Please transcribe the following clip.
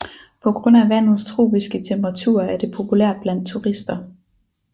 På grund af vandets tropiske temperaturer er det populært blandt turister